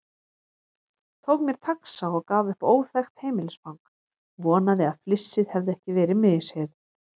Tók mér taxa og gaf upp óþekkt heimilisfang, vonaði að flissið hefði ekki verið misheyrn.